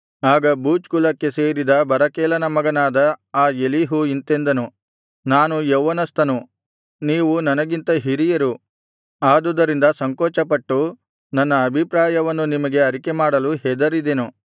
ಆಗ ಬೂಜ್ ಕುಲಕ್ಕೆ ಸೇರಿದ ಬರಕೇಲನ ಮಗನಾದ ಆ ಎಲೀಹು ಇಂತೆಂದನು ನಾನು ಯೌವನಸ್ಥನು ನೀವು ನನಗಿಂತ ಹಿರಿಯರು ಆದುದರಿಂದ ಸಂಕೋಚಪಟ್ಟು ನನ್ನ ಅಭಿಪ್ರಾಯವನ್ನು ನಿಮಗೆ ಅರಿಕೆಮಾಡಲು ಹೆದರಿದೆನು